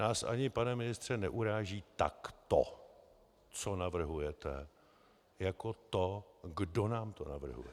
Nás ani, pane ministře, neuráží tak to, co navrhujete, jako to, kdo nám to navrhuje.